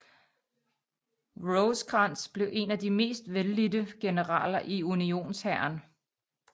Rosecrans blev en af de mest vellidte generaler i Unionshæren